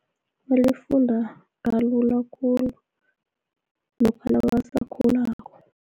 Lifunda kalula khulu, lokha nabasakhulako.